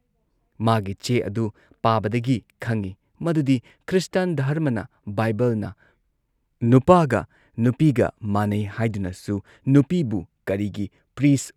ꯃꯥꯒꯤ ꯆꯦ ꯑꯗꯨ ꯄꯥꯕꯗꯒꯤ ꯈꯪꯏ‑ ꯃꯗꯨꯗꯤ ꯈ꯭ꯔꯤꯁꯇꯥꯟ ꯙꯔꯃꯅ ꯕꯥꯏꯕꯜꯅ ꯅꯨꯄꯥꯒ ꯅꯨꯄꯤꯒ ꯃꯥꯟꯅꯩ ꯍꯥꯏꯗꯨꯅꯁꯨ ꯅꯨꯄꯤꯕꯨ ꯀꯔꯤꯒꯤ ꯄ꯭ꯔꯤꯁꯠ